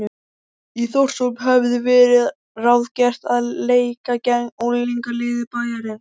Í Þórshöfn hafði verið ráðgert að leika gegn unglingaliði bæjarins.